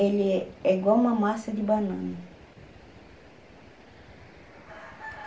Ele é igual uma massa de banana.